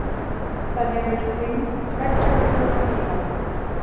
Það nemur þyngd tveggja milljóna bíla